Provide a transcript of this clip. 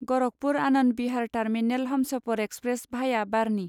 Gorakhpur Anand Vihar terminal Humsafar express भाया बाढ़नि